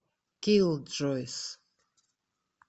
киллджойс